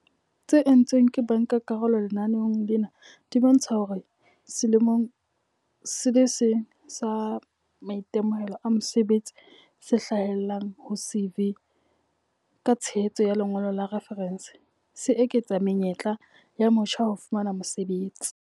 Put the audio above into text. tse entsweng ke bankakarolo lenaneong lena di bontsha hore selemong se le seng sa maitemohelo a mosebetsi se hlahellang ho CV, ka tshehetso ya lengolo la refarense, se eketsa menyetla ya motjha ya ho fumana mosebetsi.